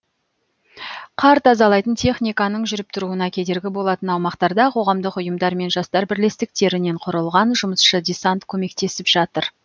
қар тазалайтын техниканың жүріп тұруына кедергі болатын аумақтарда қоғамдық ұйымдар мен жастар бірлестіктерінен құрылған жұмысшы десант көмектесіп жатыр